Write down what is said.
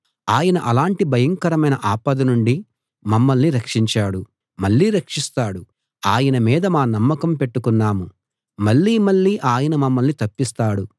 ఆయన అలాటి భయంకరమైన ఆపద నుండి మమ్మల్నిరక్షించాడు మళ్లీ రక్షిస్తాడు ఆయన మీద మా నమ్మకం పెట్టుకున్నాము మళ్ళీ మళ్ళీ ఆయన మమ్మల్ని తప్పిస్తాడు